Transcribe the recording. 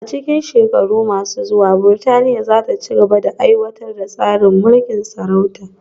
A cikin shekaru masu zuwa, Burtaniya za ta ci gaba da aiwatar da tsarin mulkin sarauta